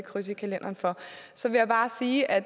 kryds i kalenderen for så vil jeg bare sige at